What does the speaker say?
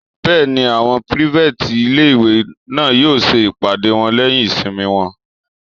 Bẹ́ẹ̀ni, àwọn pírífẹ̀tì ilé-ìwé náà yóò ṣe ìpàdé wọn lẹ́yìn ìsinmi wọn